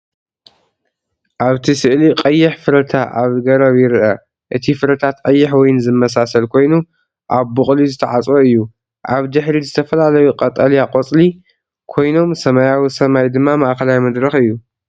ኣብቲ ስእሊ ቀይሕ ፍረታ ኣብ ገረብ ይርአ። እቲ ፍረታት ቀይሕ ወይኒ ዝመሳሰል ኮይኑ፡ ኣብ ቡቕሊ ዝተዓጽወ እዩ። ኣብ ድሕሪት ዝተፈላለዩ ቀጠልያ ቆጽሊ ኮይኖም ሰማያዊ ሰማይ ድማ ማእከላይ መድረኽ እዩ።